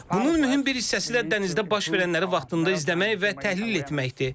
Bunun mühüm bir hissəsi də dənizdə baş verənləri vaxtında izləmək və təhlil etməkdir.